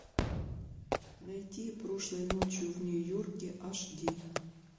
найти прошлой ночью в нью йорке аш ди